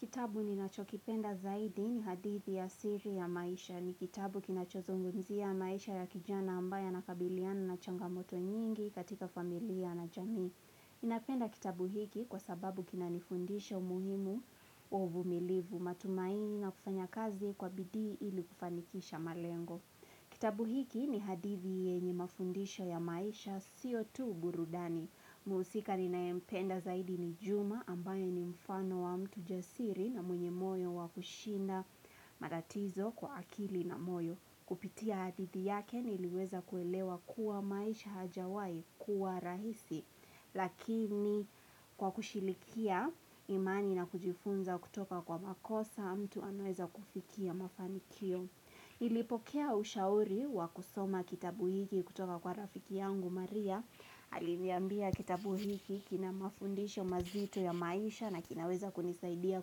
Kitabu ninachokipenda zaidi ni hadithi ya siri ya maisha. Ni kitabu kinachozongumzia maisha ya kijana ambaye anakabiliana na changamoto nyingi katika familia na jamii. Ninapenda kitabu hiki kwa sababu kinanifundisha umuhimu wa uvumilivu matumaini na kufanya kazi kwa bidii ilu kufanikisha malengo. Kitabu hiki ni hadithi yenye mafundisha ya maisha sio tu burudani. Muhusika ninayempenda zaidi ni Juma ambaye ni mfano wa mtu jasiri na mwenye moyo wa kushinda maratizo kwa akili na moyo. Kupitia hadithi yake niliweza kuelewa kuwa maisha hajawai kuwa rahisi. Lakini kwa kushilikia imani na kujifunza kutoka kwa makosa mtu anaweza kufikia mafanikio. Ilipokea ushauri wa kusoma kitabu hiki kutoka kwa rafiki yangu Maria Aliniambia kitabu hiki kina mafundisho mazito ya maisha na kinaweza kunisaidia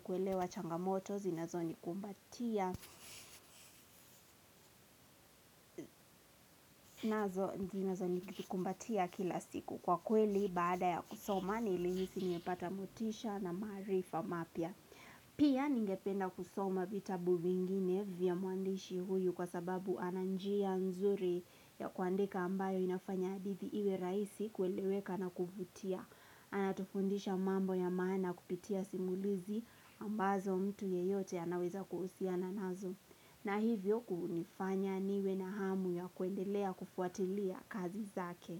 kuelewa changamoto vinazonikumbatia nazo zinazonikumbatia kila siku kwa kweli baada ya kusoma nilihisi nimepata motisha na maarifa mapya Pia ningependa kusoma vitabu vingine vya mwandishi huyu kwa sababu ananjia nzuri ya kuandeka ambayo inafanya hadithi iwe raisi kueleweka na kuvutia. Anatufundisha mambo ya maana kupitia simulizi ambazo mtu yeyote anaweza kuhusiana nazo. Na hivyo kunifanya niwe na hamu ya kuendelea kufuatilia kazi zake.